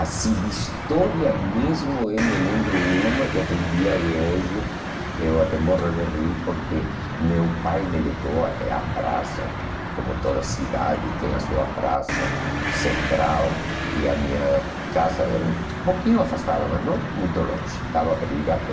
Assim, de história mesmo, eu me lembro uma que até o dia de hoje eu até morro de rir, porque meu pai me levou até a praça, como toda cidade tem a sua praça central, e a minha casa era um pouquinho afastada, mas não muito longe, dava para ir a pé.